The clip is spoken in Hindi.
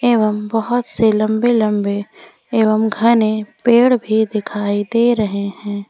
एवं बहुत से लंबे लंबे एवं घने पेड़ भी दिखाई दे रहे हैं।